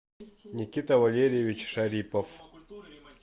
никита валерьевич шарипов